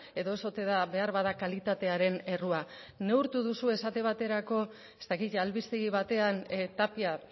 edo ez ote da beharbada kalitatearen errua neurtu duzue esate baterako ez dakit albistegi batean tapia